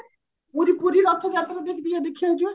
ପୁରୀ ପୁରୀ ରଥ ଯାତ୍ରା ଟିକେ ଦେଖିବାକୁ ଯିବା